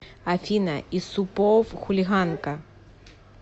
афина исупов хулиганка